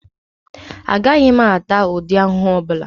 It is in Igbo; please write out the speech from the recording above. Agaghị m ata ụdị ahụhụ ọbụla